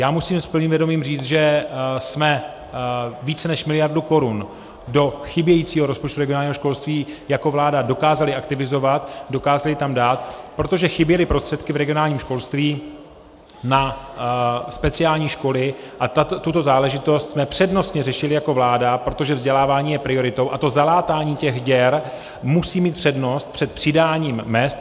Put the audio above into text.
Já musím s plným vědomím říci, že jsme více než miliardu korun do chybějícího rozpočtu regionálního školství jako vláda dokázali aktivizovat, dokázali tam dát, protože chyběly prostředky v regionálním školství na speciální školy a tuto záležitost jsme přednostně řešili jako vláda, protože vzdělávání je prioritou a to zalátání těch děr musí mít přednost před přidáním mezd.